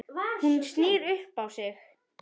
Hún snýr upp á sig.